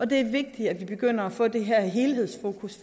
det er vigtigt at vi begynder at få det her helhedsfokus